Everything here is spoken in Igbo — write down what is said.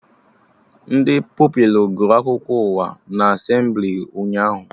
Ndị Pupilụ gụrụ akụkọ ụwa na Asemblị ụnyaahụ